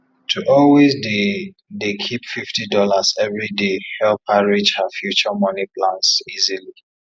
to always dey dey keep fifty dollars every day help her reach her future money plans easily